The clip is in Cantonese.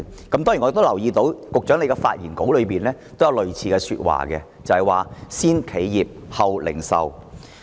當然，我亦留意到，在局長的發言稿中也有類似的說話，就是"先企業，後零售"。